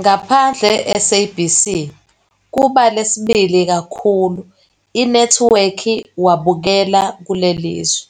Ngaphandle-SABC, kuba lesibili kakhulu inethiwekhi wabukela kuleli zwe,